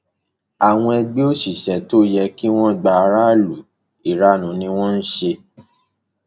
àwọn ẹgbẹ òṣìṣẹ tó yẹ kí wọn gba aráàlú ìranu ni wọn ń ṣe